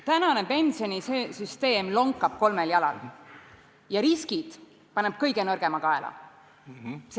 Praegune pensionisüsteem lonkab kolmel jalal ja paneb riskid kõige nõrgema kaela.